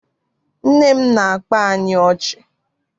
Nne m na-akpa anyị ọchị.